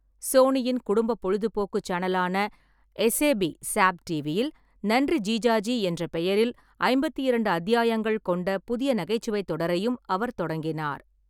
சோனியின் குடும்ப பொழுதுபோக்கு சேனலான எஸ்ஏபி ஸாப் டிவியில் நன்றி ஜிஜாஜி என்ற பெயரில் ஐம்பத்திரண்டு அத்தியாயங்கள் கொண்ட புதிய நகைச்சுவைத் தொடரையும் அவர் தொடங்கினார்.